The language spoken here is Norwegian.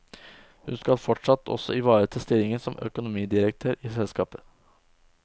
Hun skal fortsatt også ivereta stillingen som økonomidirektør i selskapet.